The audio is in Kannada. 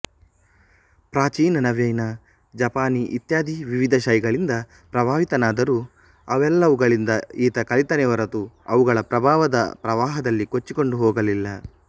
ಪ್ರಾಚೀನ ನವೀನ ಜಪಾನೀಇತ್ಯಾದಿ ವಿವಿಧ ಶೈಗಳಿಂದ ಪ್ರಭಾವಿತನಾದರೂ ಅವೆಲ್ಲವುಗಳಿಂದ ಈತ ಕಲಿತನೇ ಹೊರತು ಅವುಗಳ ಪ್ರಭಾವದ ಪ್ರವಾಹದಲ್ಲಿ ಕೊಚ್ಚಿಕೊಂಡು ಹೋಗಲಿಲ್ಲ